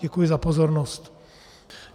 Děkuji za pozornost.